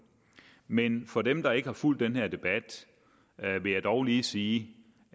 men for dem der ikke har fulgt den her debat vil jeg dog lige sige